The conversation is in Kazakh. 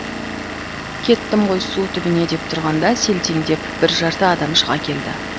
кеттім ғой су түбіне деп тұрғанда селтеңдеп бір жарты адам шыға келді